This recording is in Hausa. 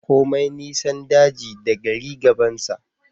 Komai nisan daji da gari gabansa